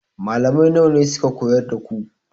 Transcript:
Malamai nawa ne suka koyar da ku?